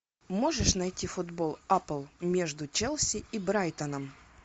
можешь найти футбол апл между челси и брайтоном